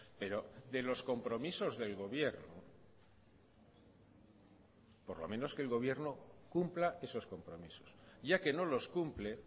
pero de los compromisos del gobierno por lo menos que el gobierno cumpla esos compromisos ya que no los cumple